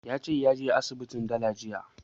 Ya ce ya je asibitin dala jiya